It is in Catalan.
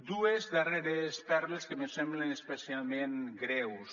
dues darreres perles que me semblen especialment greus